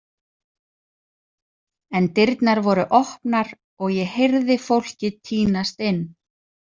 En dyrnar voru opnar og ég heyrði fólkið tínast inn.